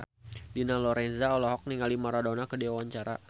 Dina Lorenza olohok ningali Maradona keur diwawancara